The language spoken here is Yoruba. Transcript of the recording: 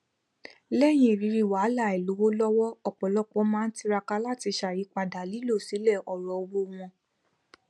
lẹyìn ìrírí wàhálà àìlówó lọwọ ọpọlọpọ máa n tiraka láti ṣàyípadà lílọ sílẹ ọrọ owó wọn